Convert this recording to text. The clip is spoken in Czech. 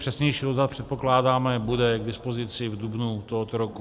Přesnější odhad, předpokládáme, bude k dispozici v dubnu tohoto roku.